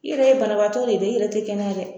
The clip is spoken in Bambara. I yɛrɛ ye banabaatɔ de ye dɛ, i yɛrɛ te kɛnɛya dɛ!